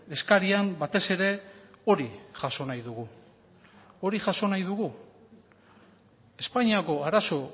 eskarian batez ere hori jaso nahi dugu hori jaso nahi dugu espainiako arazo